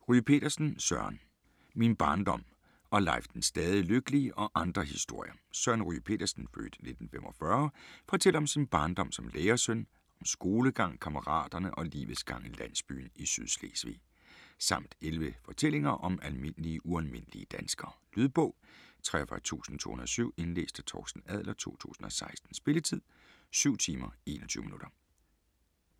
Ryge Petersen, Søren: Min barndom og Leif den stadig lykkelige og andre historier Søren Ryge Petersen (f. 1945) fortæller om sin barndom som lærersøn, om skolegang, kammeraterne og livets gang i landsbyen i Sydslesvig. Samt 11 fortællinger om almindelige ualmindelige danskere. Lydbog 43207 Indlæst af Torsten Adler, 2016. Spilletid: 7 timer, 21 minutter.